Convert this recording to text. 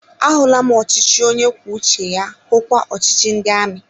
A hụla m ọchịchị onye kwuo uche ya, hukwa ọchịchị ndị amị